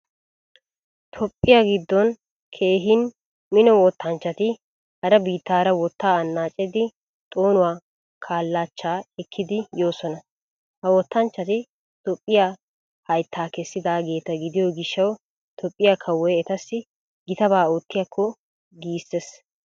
Toophphiya giddon keehin mino wottanchchati hara biittaara wottaa annacettidi xoonuwaa kallachchaa ekkidi yoosona. Ha wottanchchati Toophphiya hayttaa kessidaageta gidiyo gishawu Toophphiya kawoy etassi gitaba oottiyaakko giisses.